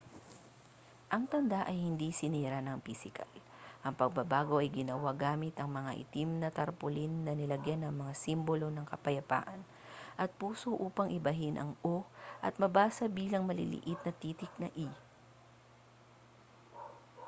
ang tanda ay hindi sinira nang pisikal ang pagbabago ay ginawa gamit ang mga itim na tarpaulin na nilagyan ng mga simbolo ng kapayapaan at puso upang ibahin ang o at mabasa bilang maliit na titik na e